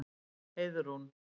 Heiðrún